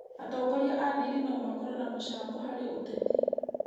Atongoria a ndini no makorwo na mũcango harĩ ũteti